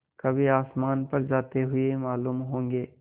कभी आसमान पर जाते हुए मालूम होंगे